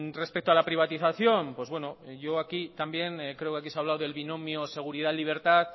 respecto a la privatización creo que aquí se ha hablado del binomio seguridad libertad